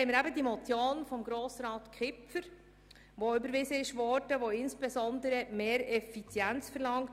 Dann haben wir die Motion von Grossrat Kipfer, die insbesondere mehr Effizienz verlangt.